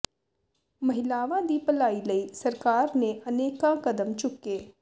ਮਹਿਲਾਵਾਂ ਦੀ ਭਲਾਈ ਲਈ ਸਰਕਾਰ ਨੇ ਅਨੇਕਾਂ ਕਦਮ ਚੁੱਕੇੋ